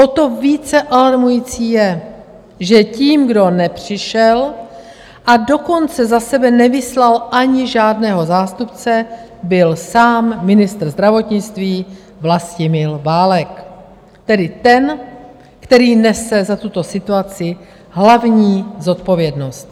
O to více alarmující je, že tím, kdo nepřišel, a dokonce za sebe nevyslal ani žádného zástupce, byl sám ministr zdravotnictví Vlastimil Válek, tedy ten, který nese za tuto situaci hlavní zodpovědnost.